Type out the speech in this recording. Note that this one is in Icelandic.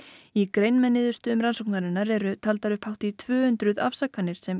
í grein með niðurstöðum rannsóknarinnar eru taldar upp hátt í tvö hundruð afsakanir sem